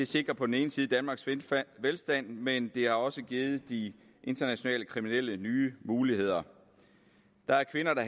sikrer på den ene side danmarks velstand velstand men det har også givet de internationale kriminelle nye muligheder der er kvinder der